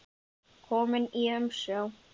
Kominn í umsjá